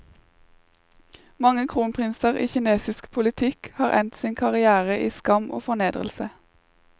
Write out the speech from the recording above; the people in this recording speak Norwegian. Mange kronprinser i kinesisk politikk har endt sin karrière i skam og fornedrelse.